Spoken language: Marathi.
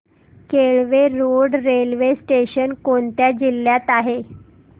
केळवे रोड रेल्वे स्टेशन कोणत्या जिल्ह्यात आहे